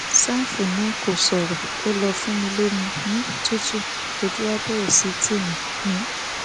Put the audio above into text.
ṣàfù náà kò ṣòro ó lọọ fún mi lomi um tutù ojú wa bẹrẹ sí í tì mí um